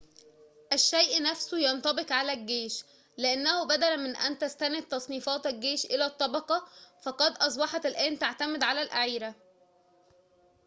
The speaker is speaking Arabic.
الشيء نفسه ينطبق على الجيش لأنه بدلاً من أن تستند تصنيفات الجيش إلى الطبقة فقد أصبحت الآن تعتمد على الأعيرة